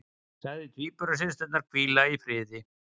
Sagði tvíburasysturnar hvíla í friði